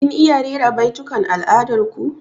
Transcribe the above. Kin iya rera baitukan al'adar ku?